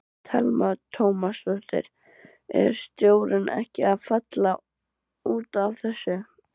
Telma Tómasson: Er stjórnin ekkert að falla út af þessu?